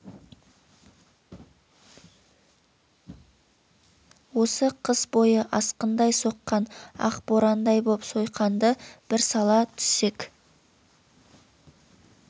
осы қыс бойы асқындай соққан ақ борандай боп сойқанды бір сала түссек